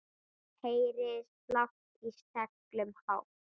Heyri slátt í seglum hátt.